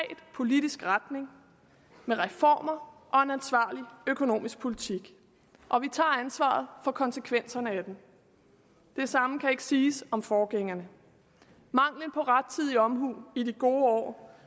politisk retning med reformer og en ansvarlig økonomisk politik og vi tager ansvaret for konsekvenserne af den det samme kan ikke siges om forgængerne mangel på rettidig omhu i de gode år